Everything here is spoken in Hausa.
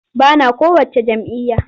Ba na kowacce jam'iyya.